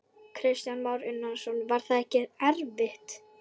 Kristján Már Unnarsson: Var það ekkert erfitt?